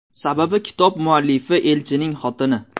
Sababi kitob muallifi elchining xotini.